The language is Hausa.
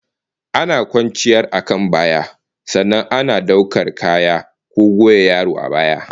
Ana kwanciyar akan baya, sannan ana daukar kaya ko goya yaro a baya